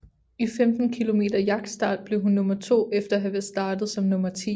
I 15 km jagtstart blev hun nummer to efter at være startet som nummer ti